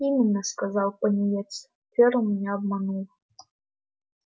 именно сказал пониетс ферл меня обманул